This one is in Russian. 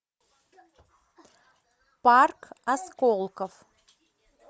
парк осколков